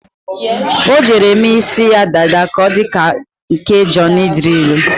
O jere mee ísí ya dada ka ọ dị ka nke Jọnị Drịlụ.